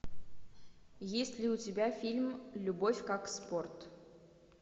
есть ли у тебя фильм любовь как спорт